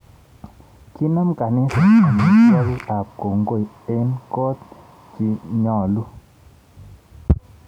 Kinem kaniset amitwokik ab kongoi eng kot chinyalu